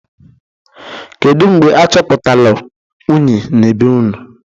Kedu mgbe achọpụtalụ unyi na be unu?